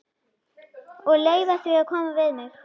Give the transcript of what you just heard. Og leyfa því að koma við mig.